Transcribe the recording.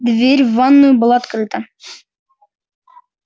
дверь в ванную была открыта